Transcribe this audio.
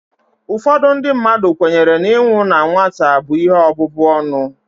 Ụfọdụ ndị mmadụ kwenyere na inwu ọnwụ na nwata bụ ihe ọbụbụ ọnụ